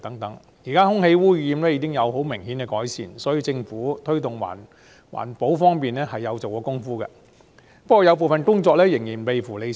現時空氣污染情況已有明顯改善，可見政府在推動環保方面是有下工夫的。